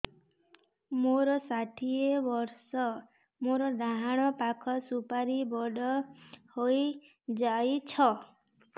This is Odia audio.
ମୋର ଷାଠିଏ ବର୍ଷ ମୋର ଡାହାଣ ପାଖ ସୁପାରୀ ବଡ ହୈ ଯାଇଛ